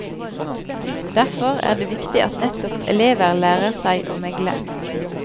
Derfor er det viktig at nettopp elever lærer seg å megle.